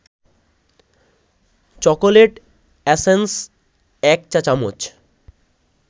chocolate essence ১ চা-চামচ